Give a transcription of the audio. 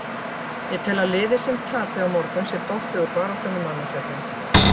Ég tel að liðið sem tapi á morgun sé dottið úr baráttunni um annað sætið.